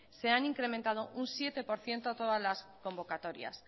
se han incrementado un siete por ciento todas las convocatorias